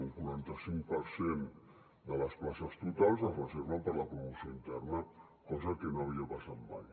un quaranta cinc per cent de les places totals es reserven per a la promoció interna cosa que no havia passat mai